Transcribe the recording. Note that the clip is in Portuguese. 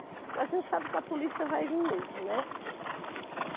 Porque a gente sabe que a polícia vai vir mesmo, né?